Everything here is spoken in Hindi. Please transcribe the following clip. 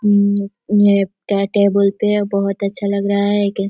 अम ये टेबुल पे बहुत अच्छा लग रहा है एक--